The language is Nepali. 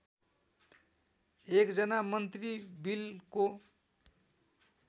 एकजना मन्त्री बिलको